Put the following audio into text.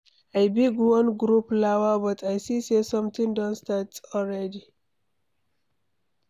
I bin wan grow flower but I see say somebody don start already.